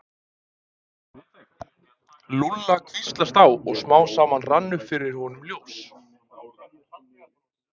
Lúlla hvíslast á og smám saman rann upp fyrir honum ljós.